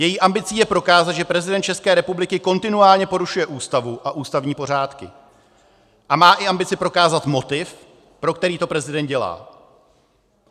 Její ambicí je prokázat, že prezident České republiky kontinuálně porušuje Ústavu a ústavní pořádky, a má i ambici prokázat motiv, pro který to prezident dělá.